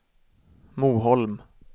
Moholm